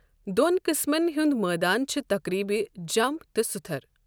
دو٘ن قٕسمن ہند مٲدٲن چھے٘ تقریبہٕ ، جم٘پ تہٕ سُتھر٘۔